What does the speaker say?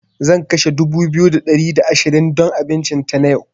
Zan kashe dubu biyu da ɗari da ashirin don abincin tana yau.